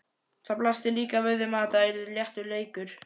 Það blasti líka við að þetta yrði léttur leikur.